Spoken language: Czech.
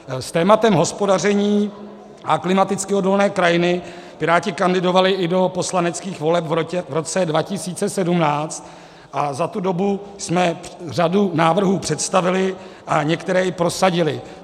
S tématem hospodaření a klimaticky odolné krajiny Piráti kandidovali i do poslaneckých voleb v roce 2017 a za tu dobu jsme řadu návrhů představili a některé i prosadili.